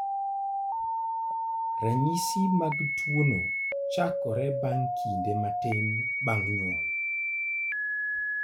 Ranyisi mag tuo no chakore bang� kinde matin bang� nyuol.